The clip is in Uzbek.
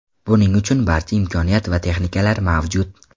Buning uchun barcha imkoniyat va texnikalar mavjud.